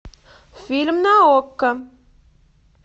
фильм на окко